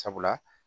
Sabula